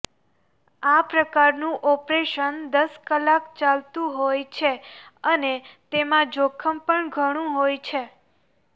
આ પ્રકારનું ઓપરેશન દશ કલાક ચાલતું હોય છે અને તેમાં જોખમ પણ ઘણું હોય છે